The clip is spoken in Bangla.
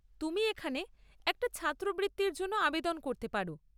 তুমি এখানে একটা ছাত্রবৃত্তির জন্য আবেদন করতে পার।